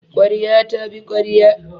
Ƙwarya ta bi ƙwarya.